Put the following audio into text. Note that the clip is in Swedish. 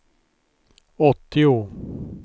åttio